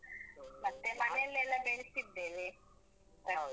ಮತ್ತೆ ಮನೇಲೆಲ್ಲ ಬೆಳ್ಸಿದ್ದೇವೆ. ತರ್ಕಾರಿ.